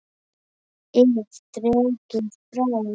ið dregið frá.